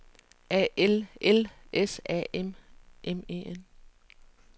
A L L S A M M E N